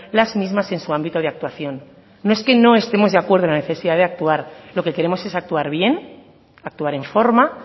las mismas en su ámbito de actuación no es que no estemos de acuerdo en la necesidad de actuar lo que queremos es actuar bien actuar en forma